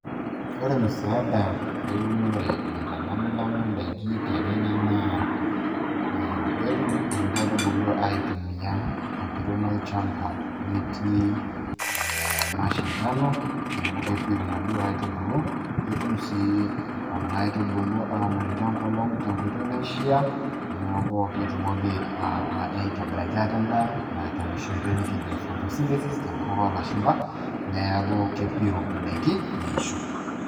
Ore musaada eunore naitalamilami ndaiki te Kenya naa ketum nkaitubulu atumia empiron olchamba metii mashindano, neeku kepiru naduo aitubulu. Ketum sii kuna aitubulu aanoto enkolong' tenkoitoi naishiaa neeku ketumoki aitobiraki ate endaa tenoshi oitoi nikijo photosynthesis tenkutuk oolashumpa, neeku kepiru ndaiki neisho.